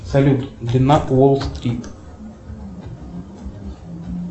салют длина уолл стрит